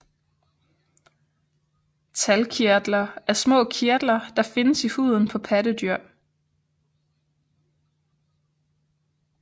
Talgkirtler er små kirtler der findes i huden på pattedyr